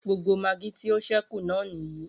Gbogbo magí tí o ṣẹ́kù náà nìyí.